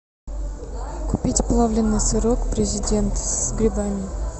купить плавленный сырок президент с грибами